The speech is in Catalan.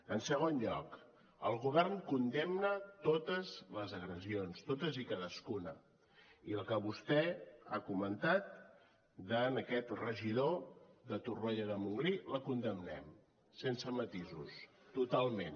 en segon lloc el govern condemna totes les agressions totes i cadascuna i la que vostè ha comentat a aquest regidor de torroella de montgrí la condemnem sense matisos totalment